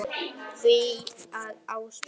því að Ásbrú